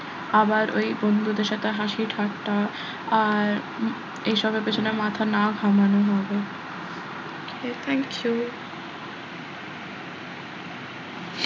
আবার ওই বন্ধুদের সাথে হাসি ঠাট্টা আর এইসবের পেছনে মাথা না ঘামানো হবে okay thank you